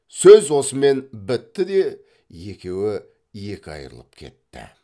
сөз осымен бітті де екеуі екі айрылып кетті